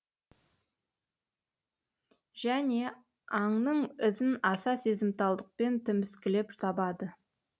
және аңның ізін аса сезімталдықпен тіміскілеп табады